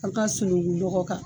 An ka sunukun nɔgɔ kan